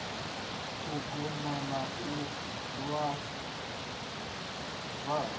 u goba na u zwala